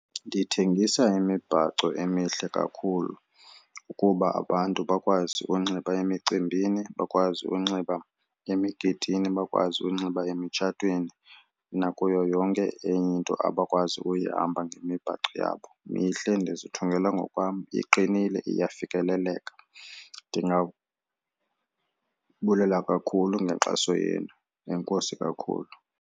Ndithengisa imibhaco emihle kakhulu ukuba abantu bakwazi unxiba emicimbini, bakwazi unxiba emigidini, bakwazi unxiba emitshatweni nakuyo yonke enye into abakwazi uyihamba ngemibhaco yabo. Mihle ndizithungele ngokwam iqinile iyafikeleleka. Ndingabulela kakhulu ngenkxaso yenu, enkosi kakhulu.